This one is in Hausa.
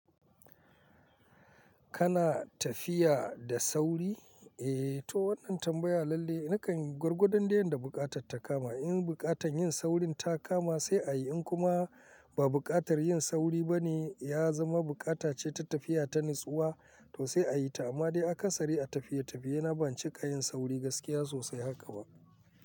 Kana tafiya da sauri? Eh, to wannan tambaya lalle nakan yi gwargwadon dai yadda buƙatarta kama. In buƙatar yin saurin ta kama sai a yi, in kuma ba buƙatar yin sauri ba ne ya zama buƙatace ta tafiya ta natsuwa to sai a yi ta, amma dai aka sari a tafiye-tafiye. Na ban cika yin sauri gaskiya sosai haka ba.